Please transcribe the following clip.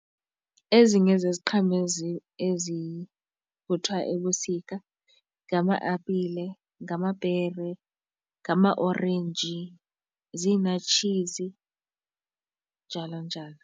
Ezinye zeziqhamo ezivuthwa ebusika ngama-apile, ngamapere, ngamaorenji, ziinartshizi njalo njalo.